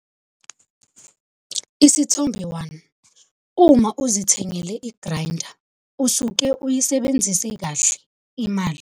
Isithombe 1- Uma uzithengele i-graynda usuke uyisebenzise kahle imali.